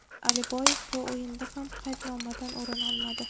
Aliboyev bu o‘yinda ham qaydnomadan o‘rin olmadi.